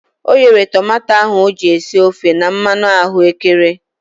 O ghere tomato ahu o ji esi ofe na mmanụ ahụekere.